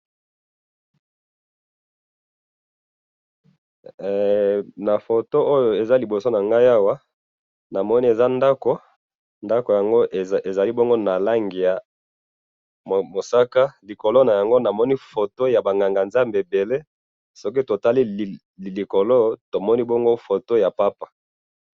Na photo oyo eza liboso nangai awa na moni eza ndaku ndaku yango ezali bongo na langi ya mosaka likolo nayango na moni photo ya ba nganga zambe ebele soki totali likolo eza photo yaba pape